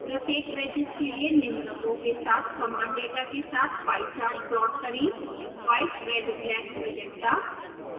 प्रत्येक wedges के लिए निम्न रंगों के साथ समान डेटा के साथ pie chart प्लॉट करें white red black magenta